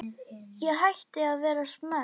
Ég hætti að vera smeyk.